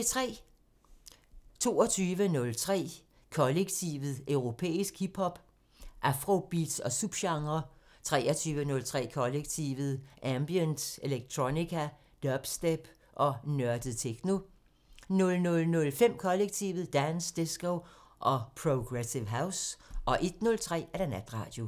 22:03: Kollektivet: Europæisk hip hop, afrobeats og subgenrer 23:03: Kollektivet: Ambient, electronica, dubstep og nørdet techno 00:05: Kollektivet: Dance, disco og progressive house 01:03: Natradio